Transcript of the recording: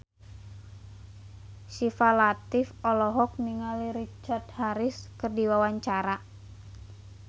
Syifa Latief olohok ningali Richard Harris keur diwawancara